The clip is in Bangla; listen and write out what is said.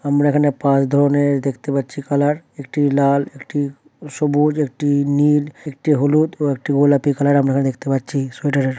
আমরা এখানে পাঁচ ধরনের-র দেখতে পাচ্ছি কালার একটি লাল একটি সবুজ একটি নীল একটি হলুদ ও একটি গোলাপী কালার আমরা এখানে দেখতে পাচ্ছি সোয়েটারের ।